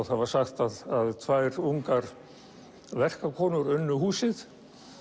það var sagt að tvær ungar verkakonur unnu húsið